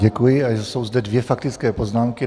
Děkuji a jsou zde dvě faktické poznámky.